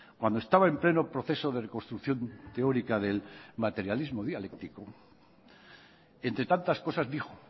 cuando estaba en pleno proceso de reconstrucción teórica del materialismo dialéctico entre tantas cosas dijo